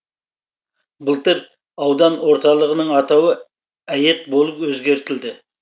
былтыр аудан орталығының атауы әйет болып өзгертілді